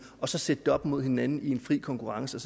og så sætte det op imod hinanden i en fri konkurrence og